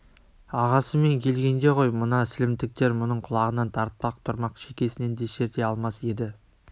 ағасымен келгенде ғой мына сілімтіктер мұның құлағынан тартпақ тұрмақ шекесінен де шерте алмас еді